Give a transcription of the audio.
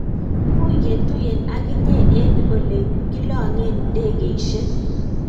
much ketuyien ak inye eng' ole kilong'en ndegesiek